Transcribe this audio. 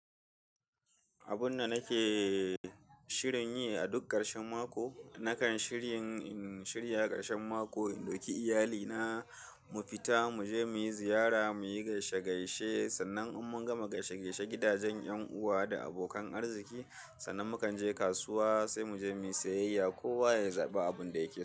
Abun da nake shirin yi a duk ƙarshen mako, nakan shirin in shirya ƙarshen mako in ɗauki iyalina mu fita mu je mu ziyara, mu yi gaishe-gaishe. Sannan in mun gama gaishe-gaishe gidajen ƴan uwa da abokan arziki, sannan mukan je kasuwa sai mu je mu yi sayayya. Kowa ya zabi abun da yake so.